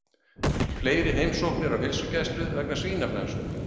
Fleiri heimsóknir á heilsugæslu vegna svínaflensu